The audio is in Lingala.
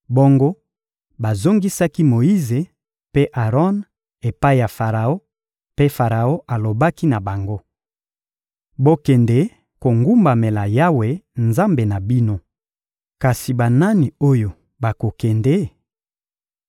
Bongo bazongisaki Moyize mpe Aron epai ya Faraon; mpe Faraon alobaki na bango: — Bokende kogumbamela Yawe, Nzambe na bino. Kasi banani oyo bakokende?